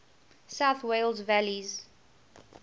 south wales valleys